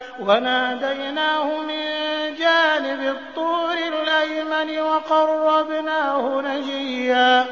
وَنَادَيْنَاهُ مِن جَانِبِ الطُّورِ الْأَيْمَنِ وَقَرَّبْنَاهُ نَجِيًّا